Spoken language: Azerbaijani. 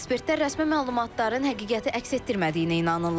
Ekspertlər rəsmi məlumatların həqiqəti əks etdirmədiyinə inanırlar.